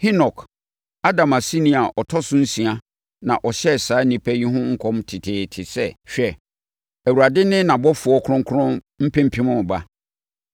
Henok, Adam aseni a ɔtɔ no so nsia na ɔhyɛɛ saa nnipa yi ho nkɔm teteete sɛ, “Hwɛ, Awurade ne nʼabɔfoɔ Kronkron mpempem reba,